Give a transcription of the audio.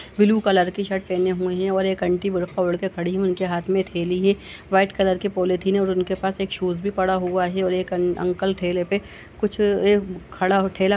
blue colour की shirt पहने हुए हैं और एक आंटी बुरखा ओढ़ कर खड़ी हुई है | उनके हाथ में थैली है व्हाइट कलर के पॉलीथिन है और उनके पास एक शूज भी पड़ा हुआ है और एक अंक अंकल ठेले पे कुछ एक खड़ा ठेला --